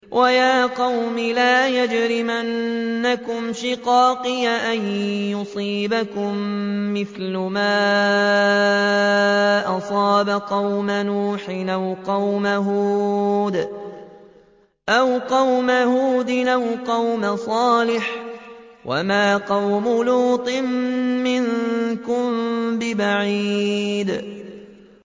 وَيَا قَوْمِ لَا يَجْرِمَنَّكُمْ شِقَاقِي أَن يُصِيبَكُم مِّثْلُ مَا أَصَابَ قَوْمَ نُوحٍ أَوْ قَوْمَ هُودٍ أَوْ قَوْمَ صَالِحٍ ۚ وَمَا قَوْمُ لُوطٍ مِّنكُم بِبَعِيدٍ